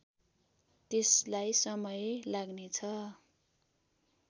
त्यसलाई समय लाग्नेछ